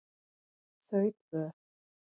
Þau tvö